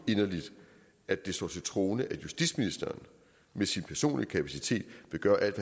inderligt at det står til troende at justitsministeren med sin personlige kapacitet vil gøre alt